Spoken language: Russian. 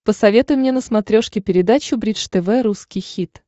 посоветуй мне на смотрешке передачу бридж тв русский хит